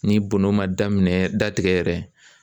Ni bonno man daminɛn datigɛ yɛrɛ